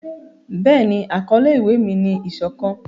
Béèni, akọle ewi mi ni 'isokan'.